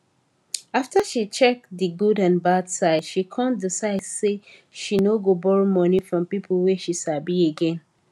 after she check di good and bad side she con decide say she no go borrow money from people wey she sabi again